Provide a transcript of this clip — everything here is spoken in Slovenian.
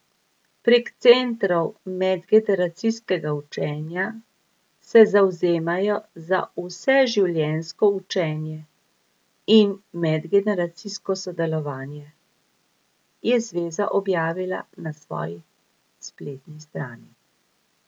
Prek centrov medgeneracijskega učenja se zavzemajo za vseživljenjsko učenje in medgeneracijsko sodelovanje, je zveza objavila na svoji spletni strani.